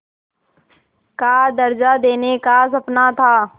का दर्ज़ा देने का सपना था